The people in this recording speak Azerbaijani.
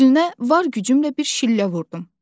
üzünə var gücümlə bir şillə vurdum.